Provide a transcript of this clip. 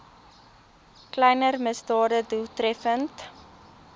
kleiner misdade doeltreffend